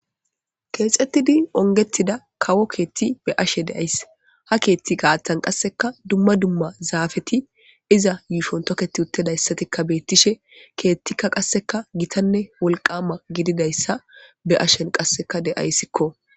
keexettidi ongettida kawo keetti be ashe deays ha keethti gaatan qasseka dumma dumma zaafeti iza yuushon toketi uttedayssatikka beettishe keettikka qasseka gitanne wolqama gididayssa be ashen qasseka deayssikko